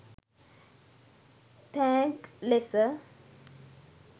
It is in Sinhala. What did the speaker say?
තෑග්ක් ලෙස